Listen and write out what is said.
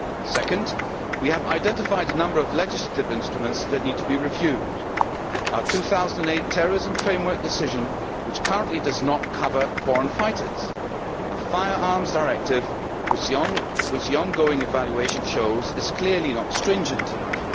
Secondly, we have identified a number of legislative instruments that need to be reviewed our 2008 terrorism framework decision, which currently does not cover foreign fighters, and our Firearms Directive which the ongoing evaluation shows is clearly not stringent enough.